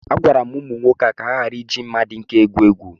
Agwara m ụmụaka ka ha ghara ị ji mma dị nkọ egwu egwu